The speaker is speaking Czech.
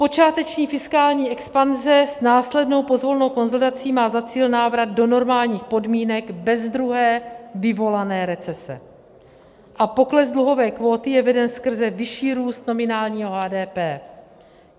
Počáteční fiskální expanze s následnou pozvolnou konsolidací má za cíl návrat do normálních podmínek bez druhé vyvolané recese a pokles dluhové kvóty je veden skrze vyšší růst nominálního HDP.